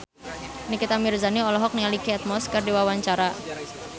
Nikita Mirzani olohok ningali Kate Moss keur diwawancara